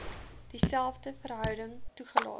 dieselfde verhouding toegelaat